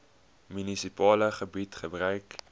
munisipale gebied gebruik